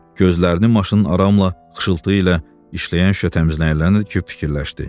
Gözlərini maşının aramla, xışıltı ilə işləyən şüşə təmizləyənlərinə dikib fikirləşdi.